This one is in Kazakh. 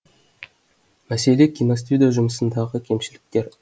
мәселе киностудия жұмысындағы кемшіліктер